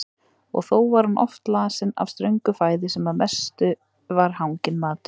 Og þó var hún oft lasin af ströngu fæði sem að mestu var hanginn matur.